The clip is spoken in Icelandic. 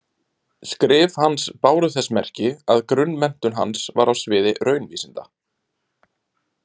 Skrif hans báru þess merki að grunnmenntun hans var á sviði raunvísinda.